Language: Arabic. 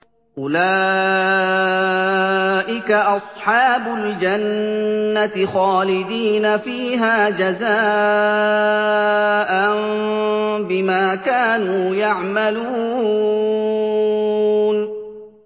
أُولَٰئِكَ أَصْحَابُ الْجَنَّةِ خَالِدِينَ فِيهَا جَزَاءً بِمَا كَانُوا يَعْمَلُونَ